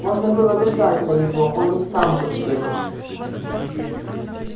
можно было дождаться его он и сам бы сбегал